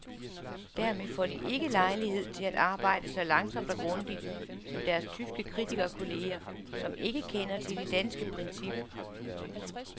Dermed får de ikke lejlighed til at arbejde så langsomt og grundigt som deres tyske kritikerkolleger, som ikke kender til det danske princip.